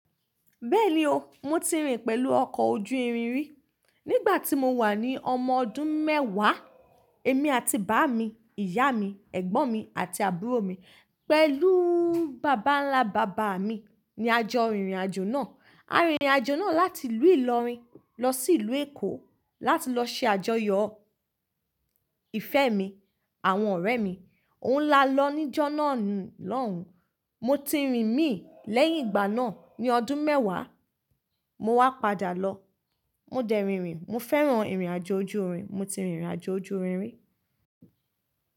Bẹ́ẹ̀ni o, mo ti rìn pẹ̀lú ọkọ̀ ojú irin rí. Nígbà tí mo wà ní ọmọ ọdún mẹ́wàá, èmi àti bàámi, ìyá mi, ẹ̀gbọ́n mi àti àbúrò mi pẹ̀lú bàbá ńlá bàbá mi ni a jọ rìnrìn àjò náà. A rìnrìn àjò náà láti ìlú Ìlọrin lọ sí ìlú Èkó láti lọ ṣe àjọyọ̀ ìfẹ́ mi àwọn ọ̀rẹ́ mi. Òun lá lọ níjọ́ náà lòún. Mo ti rìn mí lẹ́yìn ìgbà náà ní ọdún mẹ́wàá. Mo wá padà lọ. Mo dẹ̀ rìn rìn. Mo fẹ́ràn irìn àjò ojú irin. Mo ti rìnrìn àjò ojú irin rí.